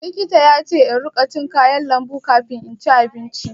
Likita yace in ruƙa cin kayan lambu kafin inci abinci.